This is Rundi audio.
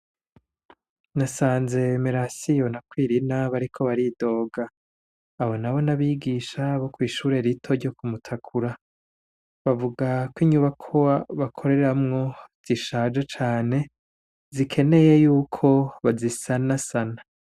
Nasanze Meransiyo na Kwirina bariko baridoga abo nabo n'abigisha bo kwishure rito ryo kumutakura bavuga ko inyubakwa bakoreramwo zishaje cane zikeneye yuko bazisanasana.